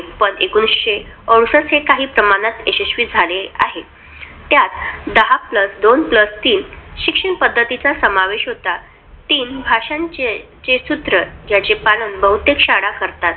पण एकोणविशे अडुसष्ट हे काही प्रमाणात यशस्वी झाले आहेत त्यात, दहा plus दोन plus तीन शिक्षण पद्धतीचा समावेश होतो तीन भाषांचे सूत्र, ज्याचे पालन बहुतेक शाळा करतात.